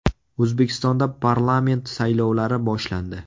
O‘zbekistonda parlament saylovlari boshlandi.